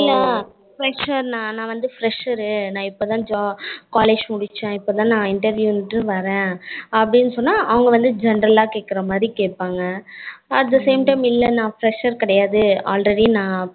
இல்ல நா வந்து fresher நா இப்போதான் college முடிச்சேன் இப்போதான் நா interview வந்துட்டு வரேன் அப்படினு சொன்னா அவங்க வந்து general ஆ கேக்குற மாதிரி கேப்பாங்க at the same time இல்ல நா fresher கெடையாது already நா